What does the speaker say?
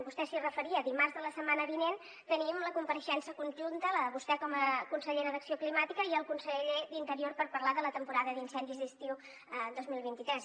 vostè s’hi referia dimarts de la setmana vinent tenim la compareixença conjunta la de vostè com a consellera d’acció climàtica i el conseller d’interior per parlar de la temporada d’incendis d’estiu dos mil vint tres